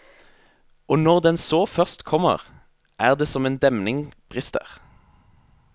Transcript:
Og når den så først kommer, er det som en demning brister.